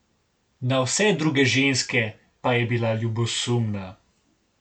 Na vse druge ženske pa je bila ljubosumna.